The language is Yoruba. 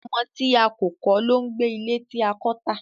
ọmọ tí a kò lon gbé ilé tí a kò tá.